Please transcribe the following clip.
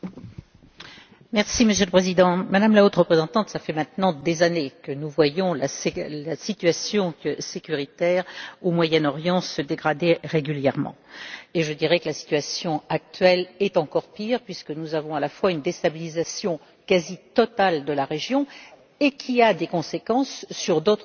Monsieur le Président, Madame la Haute représentante, cela fait maintenant des années que nous voyons la situation de la sécurité au Moyen Orient se dégrader régulièrement et je dirais que la situation actuelle est encore pire, puisque nous avons également une déstabilisation quasi totale de la région qui a des conséquences sur d'autres régions. On le voit